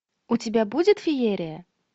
у тебя будет феерия